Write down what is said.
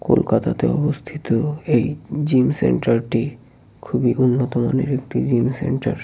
কলকাতাতে অবস্থিত এই জিম সেন্টার টি খুবই উন্নতমানের একটি জিম সেন্টার ।